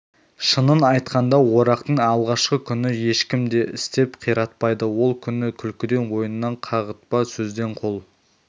шынын айтқанда орақтың алғашқы күні ешкім де істеп қиратпайды ол күні күлкіден ойыннан қағытпа сөзден қол